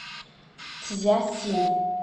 цзясин